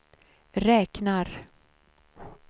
räknar